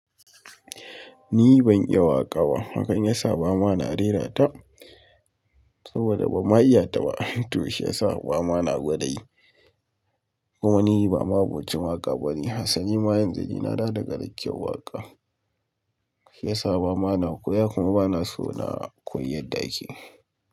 Ni ban iya waƙa ba. Hakan ya sa ba ma na rera ta saboda ban ma iya ta ba. To shiyasa ba ma na gwada yi. Kuma ni ba ma abocin waka ba ne. Hassani ma yan zagi na da daga dake waƙa. Shi ya sa ba ma na koya kuma ba na so na koyi yadda ake.